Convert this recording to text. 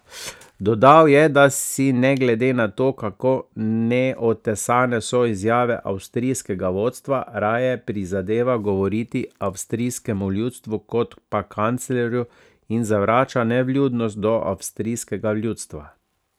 Dodal je, da si, ne glede na to, kako neotesane so izjave avstrijskega vodstva, raje prizadeva govoriti avstrijskemu ljudstvu kot pa kanclerju in zavrača nevljudnost do avstrijskega ljudstva.